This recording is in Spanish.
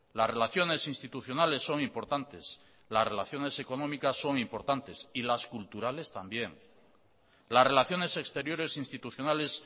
las relaciones institucionales son importantes las relaciones económicas son importantes y las culturales también las relaciones exteriores institucionales